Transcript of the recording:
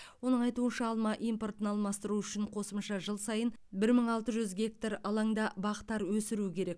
оның айтуынша алма импортын алмастыру үшін қосымша жыл сайын бір мың алты жүз гектар алаңда бақтар өсіру керек